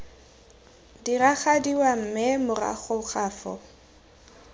diragadiwa mme morago ga foo